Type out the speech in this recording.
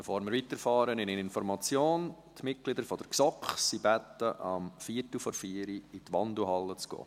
Bevor wir weiterfahren, eine Information: Die Mitglieder der GSoK sind gebeten, sich um 15.45 Uhr in der Wandelhalle einzufinden.